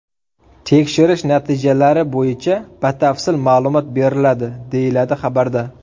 Tekshirish natijalari bo‘yicha batafsil ma’lumot beriladi”, deyiladi xabarda.